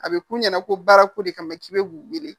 A bɛ k'u ɲɛna ko baara ko de kama k'i bɛ k'u wele